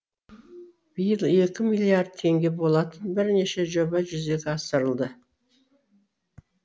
биыл екі миллиард теңге болатын бірнеше жоба жүзеге асырылды